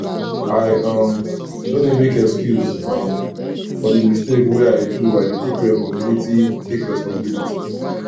i um no dey make excuse um for di mistake wey i do i dey take resposibility take resposibility